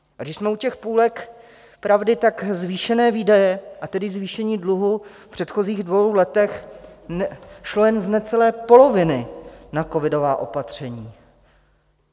A když jsme u těch půlek pravdy, tak zvýšené výdaje, a tedy zvýšení dluhu v předchozích dvou letech šlo jen z necelé poloviny na covidová opatření.